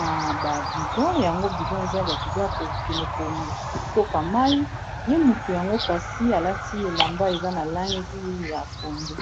na ba budon yango budon ezali ba budon ya kokende kotoka mayi ye motu yango kasi alati elamba eza na langi ya pondu.